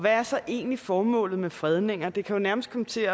er så egentlig formålet med fredninger det kan jo nærmest komme til